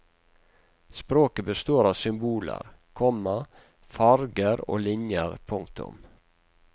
Språket består av symboler, komma farger og linjer. punktum